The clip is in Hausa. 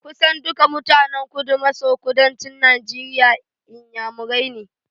Kusan duka mutanen Kudu-maso-kudancin Najeriya Inyamurani ne.